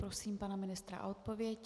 Prosím pana ministra o odpověď.